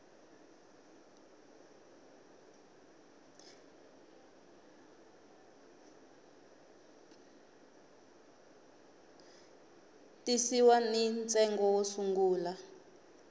tisiwa ni ntsengo wo sungula